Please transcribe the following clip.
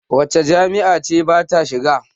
Wace jami'a ce ta ba ta shiga?